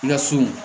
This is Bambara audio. I ka so